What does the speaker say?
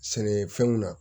Sɛnɛfɛnw na